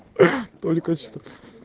только что